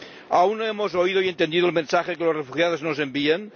¿Aún no hemos oído y entendido el mensaje que los refugiados nos envían?